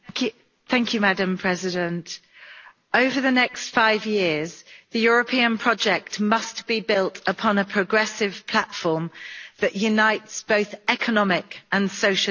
Madam President, over the next five years the European project must be built upon a progressive platform that unites both economic and social issues.